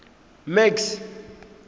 max